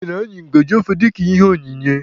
E nyere anyị ngajị ofe dịka ihe onyinye.